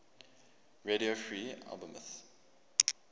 radio free albemuth